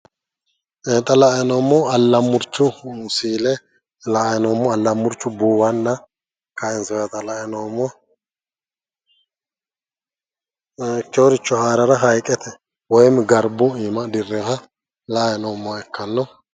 xa la"ayi noommohu allamurchu si'ile la"ayi noommo buuwanna kaansoyiita la"ayi noommo, ikkewooricho haarara haayiiqete woyim garbu iima dirreeha la"ayi noommoha ikkanno.